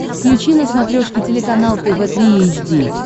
включи на смотрешке телеканал тв три эйч ди